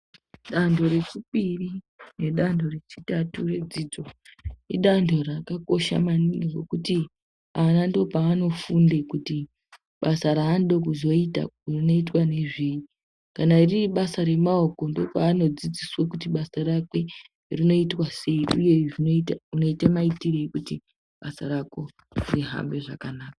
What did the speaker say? Danho rechipiri nedanho rechitatu redzidzo, idanho rakakosha maningi ngekuti ana ndipo paanofunde kuti basa raanode kuzoyita rinoitwa ngezveyi. Kana riri basa remaoko ,ndipo paanodzidziswa kuti basa rakwe rinoitwa sei ,uye zvinoita unoita mayitireyi kuti rihambe zvakanaka.